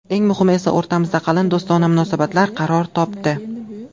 Eng muhimi esa o‘rtamizda qalin do‘stona munosabat qaror topdi.